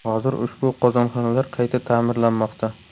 Hozir ushbu qozonxonalar qayta ta’mirlanmoqda”.